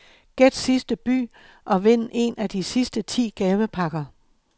Gæt sidste by og vind en af de sidste ti gavepakker.